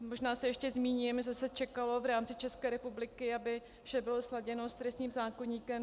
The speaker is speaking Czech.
Možná se ještě zmíním, že se čekalo v rámci České republiky, aby vše bylo sladěno s trestním zákoníkem.